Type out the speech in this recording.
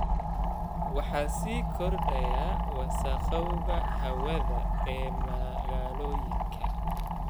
Waxaa sii kordhaya wasakhowga hawada ee magaalooyinka.